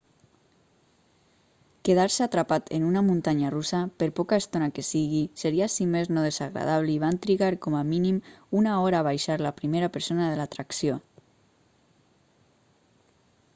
quedar-se atrapat en una muntanya russa per poca estona que sigui seria si més no desagradable i van trigar com a mínim una hora a baixar la primera persona de l'atracció